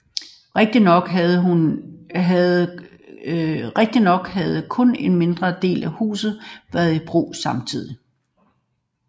Rigtignok havde kun en mindre del af huset været i brug samtidig